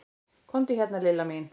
Komdu hérna Lilla mín.